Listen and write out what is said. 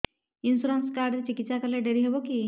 insurance card ରେ ଚିକିତ୍ସା କଲେ ଡେରି ହବକି